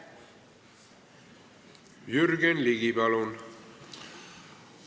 Jürgen Ligi, palun!